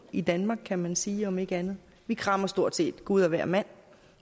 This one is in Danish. i danmark kan man sige om ikke andet vi krammer stort set gud og hvermand